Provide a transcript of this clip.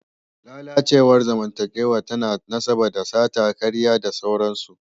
Lalacewar zamantakewa tana da nasaba da sata, karya da sauransu.